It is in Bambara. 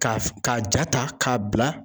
Ka ka ja ta k'a bila